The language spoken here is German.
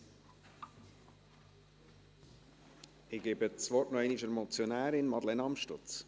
Ich gebe das Wort noch einmal der Motionärin, Madeleine Amstutz.